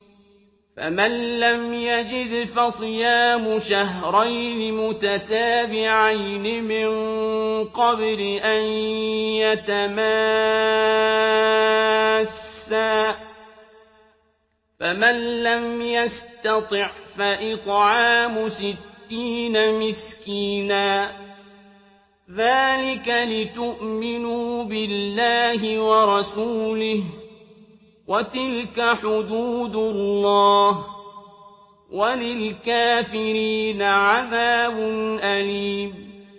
فَمَن لَّمْ يَجِدْ فَصِيَامُ شَهْرَيْنِ مُتَتَابِعَيْنِ مِن قَبْلِ أَن يَتَمَاسَّا ۖ فَمَن لَّمْ يَسْتَطِعْ فَإِطْعَامُ سِتِّينَ مِسْكِينًا ۚ ذَٰلِكَ لِتُؤْمِنُوا بِاللَّهِ وَرَسُولِهِ ۚ وَتِلْكَ حُدُودُ اللَّهِ ۗ وَلِلْكَافِرِينَ عَذَابٌ أَلِيمٌ